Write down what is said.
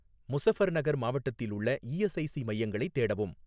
முசஃபர்நகர் மாவட்டத்தில் உள்ள இஎஸ்ஐசி மையங்களைத் தேடவும்